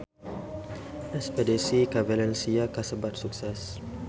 Espedisi ka Valencia kasebat sukses